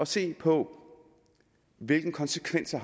se på hvilke konsekvenser